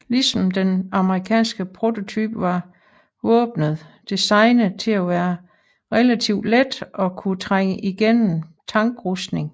Ligesom den amerikanske prototype var våbnet designet til at være relativt let og kunne trænge igennem tankrustning